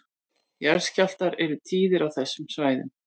Jarðskjálftar eru tíðir á þessu svæði